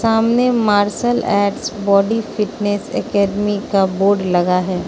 सामने martial art body fitness academy का board लगा है।